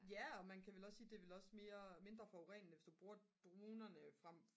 ja og man kan vel også sige det er vel også mere mindre forurenende hvis du bruger dronerne frem